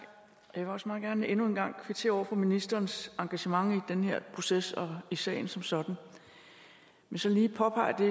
jeg vil også meget gerne endnu en gang kvittere for ministerens engagement i den her proces og i sagen som sådan men så lige påpege